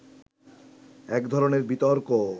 এক ধরনের বিতর্ক